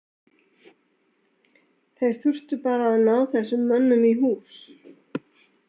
Þeir þurftu bara að ná þessum mönnum í hús.